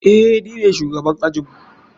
Eh, nine shugaban ajinmu.